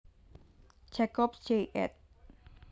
Jacobs Jay ed